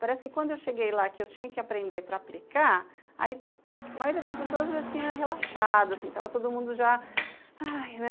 Parece que quando eu cheguei lá, que eu tinha que aprender para aplicar, aí a maioria das pessoas já tinha relaxado, assim, estava todo mundo já, ai, né?